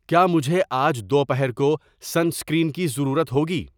کیا مجھے آج دوپہر کو سن اسکرین کی ضرورت ہوگی